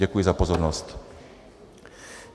Děkuji za pozornost.